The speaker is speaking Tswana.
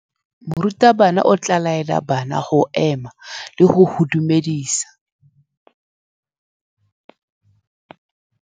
Morutabana o tla laela bana go ema le go go dumedisa.